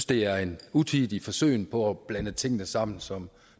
det er et utidigt forsøg på at blande tingene sammen som